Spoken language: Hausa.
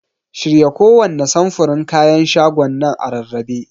Shirya kowanne samfurin kayan shagonan a rarrabe.